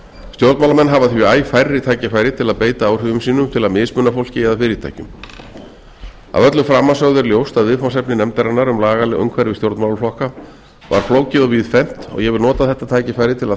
stjórnmálamenn hafa því æ færri tækifæri til að beita áhrifum sínum til að mismuna fólki eða fyrirtækjum að öllu framansögðu er ljóst að viðfangsefni nefndarinnar um lagaleg umhverfi stjórnmálaflokka var flókið og víðfeðmt og ég vil nota þetta tækifæri til að